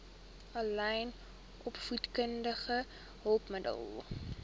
aanlyn opvoedkundige hulpmiddele